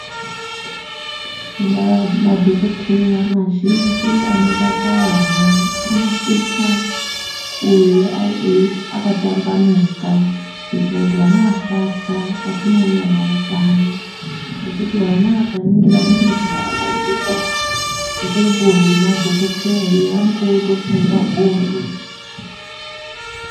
Madhogodheya mazhinji anorape vana anosisa kuye akatambanuka kuitire kuti vana asatya patinouya nawo paya, ngekuti vana vakaringira muntu akapfeka ngubo yemadhokoteya iya vanonge votofunge hondo.